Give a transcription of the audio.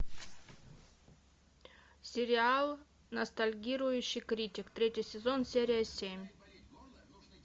сериал ностальгирующий критик третий сезон серия семь